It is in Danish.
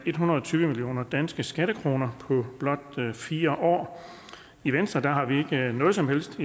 hundrede og tyve millioner danske skattekroner på blot fire år i venstre har vi ikke noget som helst